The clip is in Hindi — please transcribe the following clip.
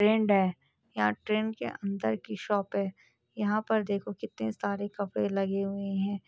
ट्रेंड है ट्रेंड के अंदर की शॉप है यहाँ पर देखोगे तो सारे कपड़े लगे हुए हैं।